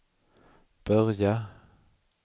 börja